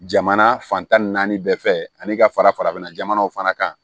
Jamana fan tan ni naani bɛɛ fɛ ani ka fara farafinna jamanaw fana kan